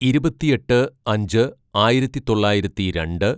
ഇരുപത്തിയെട്ട് അഞ്ച് ആയിരത്തിതൊള്ളായിരത്തി രണ്ട്